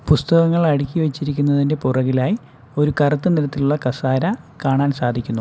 പുസ്തകങ്ങൾ അടക്കി വെച്ചിരിക്കുന്നതിന്റെ പുറകിലായി ഒരു കറുത്ത നിറത്തിലുള്ള കസേര കാണാൻ സാധിക്കുന്നു.